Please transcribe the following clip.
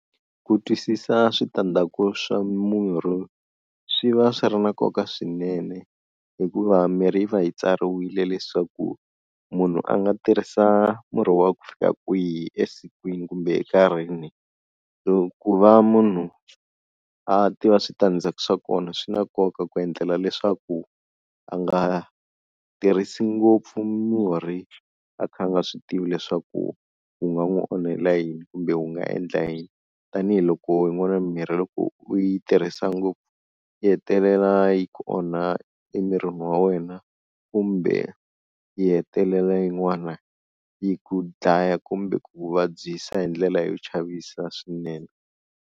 Ku twisisa switandzhaku swa murhi swi va swi ri na nkoka swinene hikuva mirhi yi va yi tsariwile leswaku munhu a nga tirhisa murhi wa ku fika kwihi esikwini kumbe enkarhini, so ku va munhu a tiva switandzhaku swa kona swi na nkoka ku endlela leswaku a nga tirhisi ngopfu murhi a kha a nga swi tivi leswaku wu nga n'wi onhela yini kumbe wu nga endla yini, tanihiloko yin'wana mimirhi loko u yi tirhisa ngopfu yi hetelela yi ku onha emirini wa wena kumbe yi hetelela yin'wana yi ku dlaya kumbe ku vabyisa hi ndlela yo chavisa swinene.